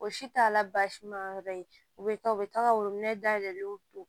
O si t'a la baasi ma yɔrɔ ye u bɛ taa u bɛ taga wolo in dayɛlɛ u don